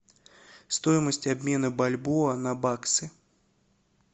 стоимость обмена бальбоа на баксы